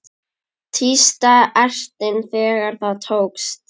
Tísta ertin þegar það tókst.